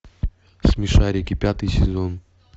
смешарики пятый сезон